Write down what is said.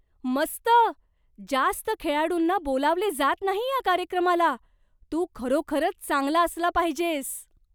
मस्त! जास्त खेळाडूंना बोलावले जात नाही या कार्यक्रमाला. तू खरोखरच चांगला असला पाहिजेस!